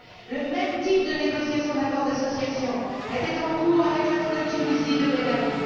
Le même type de négociations sur un accord d'association était en cours avec la Tunisie de Ben Ali.